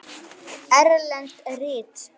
Erlend rit